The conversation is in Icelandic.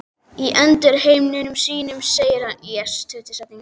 Og í endurminningum sínum segir hann